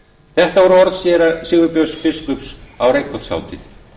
þetta voru orð séra sigurbjörns biskups á reykholtshátíð